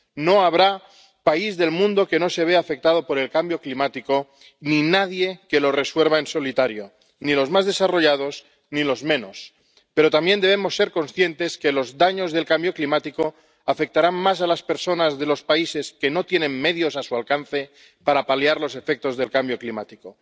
No habrá país del mundo que no se verá afectado por el cambio climático ni nadie que lo resuelva en solitario, ni los más desarrollados ni los menos, pero también debemos ser conscientes de que los daños del cambio climático afectarán más a las personas de los países que no tienen medios a su alcance para paliar los efectos del cambio climático.